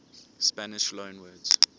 spanish loanwords